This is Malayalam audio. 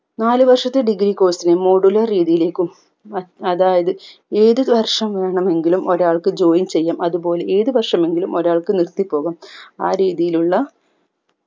നാല് വർഷത്തെ degree course നെ modular രീതിയിലേക്കും അ അതായത് ഏത് വർഷം വേണമെങ്കിലും ഒരാൾക്ക് join ചെയ്യാം അതുപോലെ ഏത് വർഷമെങ്കിലും ഒരാൾക്ക് നിർത്തി പോകാം ആ രീതിയിലുള്ള